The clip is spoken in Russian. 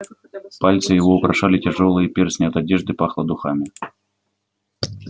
пальцы его украшали тяжёлые перстни от одежды пахло духами